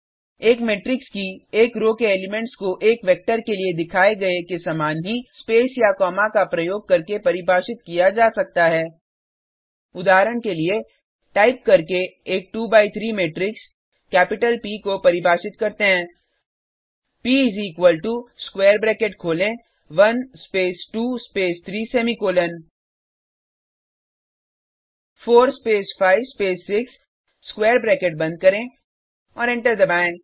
एक मेट्रिक्स की एक रो के एलिमेंट्स को एक वेक्टर के लिए दिखाए गए के समान ही स्पेस या कॉमा का प्रयोग करके परिभाषित किया जा सकता है उदाहरण के लिए टाइप करके एक 2 बाय 3 मैट्रिक्स प को परिभाषित करते हैं प इस इक्वल टो स्क्वायर ब्रैकेट खोलें 1 space 2 space 3 semicolon 4 space 5 space 6 square bracket बंद करें और एंटर दबाएँ